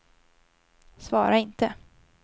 svara inte